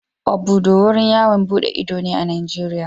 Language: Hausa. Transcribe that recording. Obudu wurin yawon duɗe ido ne a Najeriya.